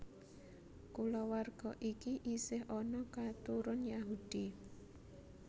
Kulawarga iki isih ana katurun Yahudi